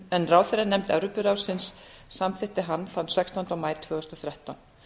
en ráðherranefnd evrópuráðsins samþykkti hann þann sextánda maí tvö þúsund og þrettán